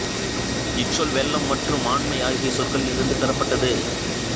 இச்சொல் வெள்ளம் மற்றும் ஆண்மை ஆகிய சொற்களில் இருந்து பெறப்பட்டது